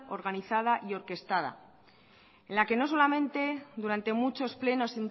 organizada y orquestada en la que no solamente durante muchos plenos